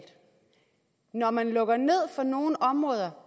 når man lukker ned for nogle områder